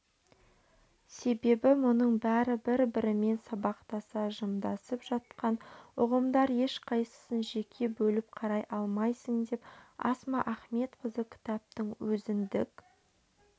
себебі мұның бәрі бір-бірімен сабақтаса жымдасып жатқан ұғымдар ешқайсысын жеке бөліп қарай алмайсың деп асма ахметқызы кітаптың өзіндік